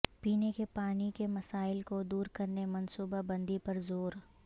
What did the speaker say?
پینے کے پانی کے مسائل کو دور کرنے منصوبہ بندی پر زور